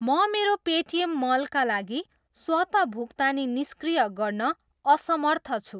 म मेरो पेटिएम मलका लागि स्वत भुक्तानी निष्क्रिय गर्न असमर्थ छु।